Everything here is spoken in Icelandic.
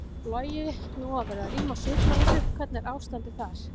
Logi: Nú var verið að rýma sjúkrahúsið, hvernig er ástandið þar?